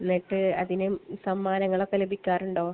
എന്നിട്ട് അതിന് സമ്മാനങ്ങളൊക്കെ ലഭിക്കാറുണ്ടോ?